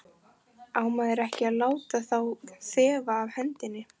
Á maður ekki að láta þá þefa af hendinni?